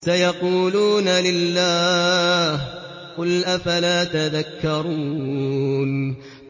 سَيَقُولُونَ لِلَّهِ ۚ قُلْ أَفَلَا تَذَكَّرُونَ